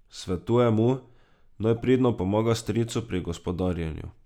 Svetuje mu, naj pridno pomaga stricu pri gospodarjenju.